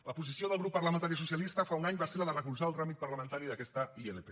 la posició del grup parlamentari socialista fa un any va ser la de recolzar el tràmit parlamentari d’aquesta ilp